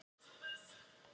"""Já, ég geri það."""